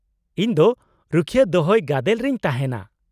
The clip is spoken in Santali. -ᱤᱧ ᱫᱚ ᱨᱩᱠᱷᱤᱭᱟᱹ ᱫᱚᱦᱚᱭ ᱜᱟᱫᱮᱞ ᱨᱮᱧ ᱛᱟᱦᱮᱸᱱᱟ ᱾